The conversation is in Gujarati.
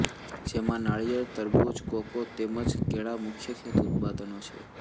જેમાં નારિયેળ તરબૂચ કોકો તેમ જ કેળાં મુખ્ય ખેતઉત્પાદનો છે